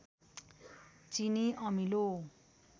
चिनी अमिलो